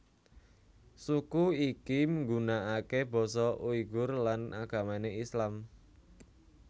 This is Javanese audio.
Suku iki nggunakake basa Uighur lan agamane Islam